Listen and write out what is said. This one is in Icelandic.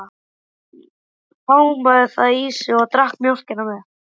Hann hámaði það í sig og drakk mjólk með.